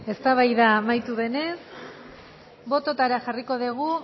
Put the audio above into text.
eztabaida amaitu denez bototara jarriko dugu